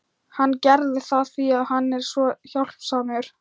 Hann gerði það því að hann er svo hjálpsamur.